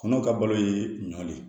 Kɔnɔw ka balo ye ɲɔn de ye